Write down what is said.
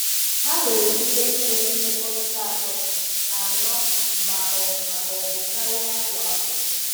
Ha nwere ike inwe mmekọrịta atọ, anọ ma ọ ma ọ bụ karịa kwa afọ.